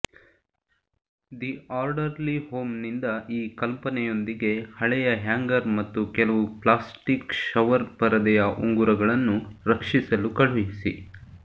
the orderly ಹೋಮ್ನಿಂದ ಈ ಕಲ್ಪನೆಯೊಂದಿಗೆ ಹಳೆಯ ಹ್ಯಾಂಗರ್ ಮತ್ತು ಕೆಲವು ಪ್ಲಾಸ್ಟಿಕ್ ಷವರ್ ಪರದೆಯ ಉಂಗುರಗಳನ್ನು ರಕ್ಷಿಸಲು ಕಳುಹಿಸಿ